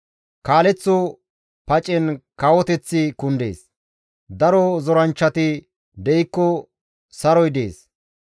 Kaaleththo pacen kawoteththi kundees; daro zoranchchati de7ikko saroy dees.